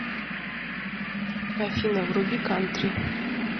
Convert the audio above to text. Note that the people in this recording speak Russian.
афина вруби кантри